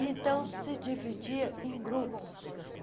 Então, se dividia em grupos.